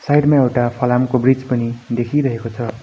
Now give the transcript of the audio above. Side मा एउटा फलामको ब्रिज पनि देखिरहेको छ।